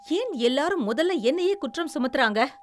ஏன் எல்லாரும் முதல்ல என்னையே குற்றம் சுமத்துறாங்க?